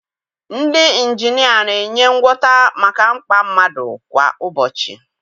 Ndị injinia na-enye ngwọta maka mkpa mmadụ kwa ụbọchị.